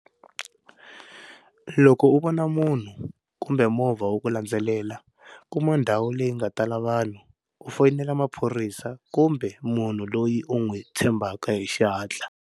Loko u vona munhu kumbe movha wu ku landzelela, kuma ndhawu leyi nga tala vanhu u foyinela maphorisa kumbe munhu loyi u n'wi tshembhaka hi xihatla.